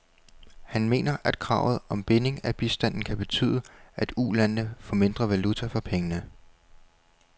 Han mener, at kravet om binding af bistanden kan betyde, at ulandene får mindre valuta for pengene.